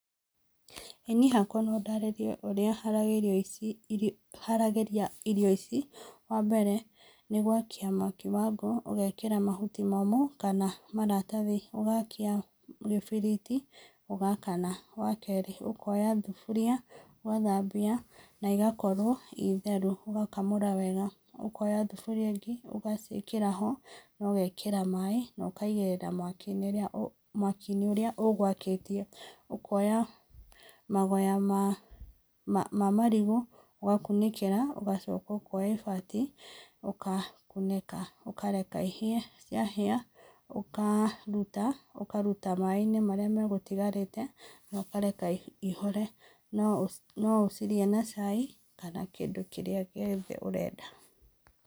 Niĩ hakwa no ndarĩrie ũrĩa haragĩria ici, haragĩria irio ici. Ha mbere nĩ gwakia mwaki wa ngũ, ũgekĩra mahuti momũ kana maratathi, ũgakia gĩbiriti, ũgakana. Wa kerĩ, ũkoya thuburia ũgathambia na ĩgakorwo ĩ theru, ũgakamũra wega. Ũkoya thuburia ĩngĩ, ũgaciĩkĩra ho na ũgekĩra maĩ na ũkaigĩrĩra mwaki-inĩ ũrĩa ũgũakĩtie, ũkoya magoya ma marigũ ũgakunĩkĩra ũgacoka ũkoya ibati, ũgakunĩka. Ũkareka ihĩe, ciahĩa, ũkaruta, ũkaruta maĩ-inĩ marĩa megũtigarĩte na ũkareka ihore. No ũcirĩe na cai kana kĩndũ kĩrĩa gĩothe ũrenda.